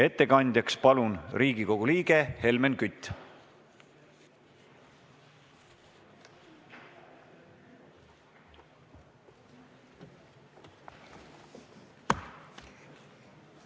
Ettekandjaks palun Riigikogu liikme Helmen Küti!